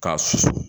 K'a susu